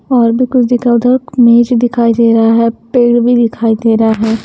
और भी कुछ दिखा उधर मेज दिखाई दे रहा है पेड़ भी दिखाई दे रहा है।